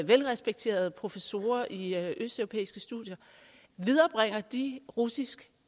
velrespekterede professorer i østeuropæiske studier viderebringer de russisk